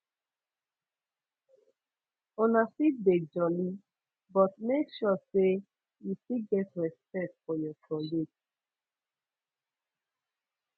una fit dey jolly but make sure sey you still get respect for your colleagues